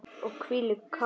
Og hvílíkt kakó.